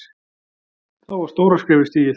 Þá var stóra skrefið stigið.